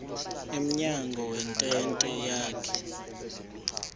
emnyango wentente yakhe